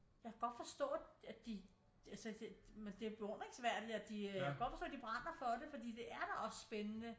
Jeg kan godt forstå at de altså det men det er beundringsværdigt at de øh jeg kan godt forstå de brænder for det fordi det er d også spændende